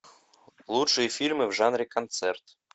лучшие фильмы в жанре концерт